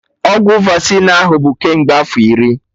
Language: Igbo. Ọgwụ Vasịn ahụ bụ kemgbe afọ iri!